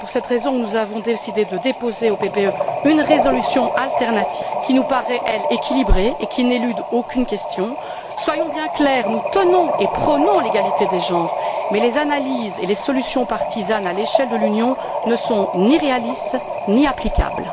C'est pour cette raison que nous avons décidé de déposer au PPE une résolution de remplacement qui nous paraît, elle, équilibrée et qui n'élude aucune question. Soyons bien clairs nous prônons l'égalité entre les hommes et les femmes, mais les analyses et les solutions partisanes à l'échelle de l'Union ne sont ni réalistes ni applicables.